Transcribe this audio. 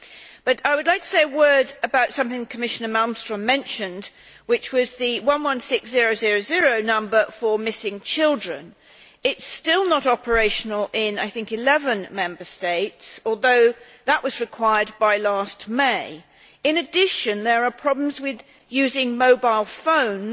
However, I would like to say a word about something Commissioner Malmström mentioned, which was the 116000 number for missing children. It is still not operational in, I think, 11 Member States, although that was required by last May. In addition there are problems with using mobile phones